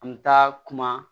An bɛ taa kuma